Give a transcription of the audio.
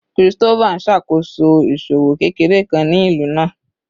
Christopher n ṣakoso iṣowo kekere kan ni ilu naa